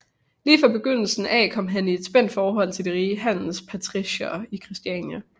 Lige fra begyndelsen af kom han i et spændt forhold til de rige handelspatriciere i Christiania